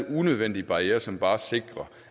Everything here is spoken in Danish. er unødvendige barrierer som bare sikrer